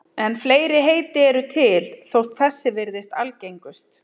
En fleiri heiti eru til þótt þessi virðist algengust.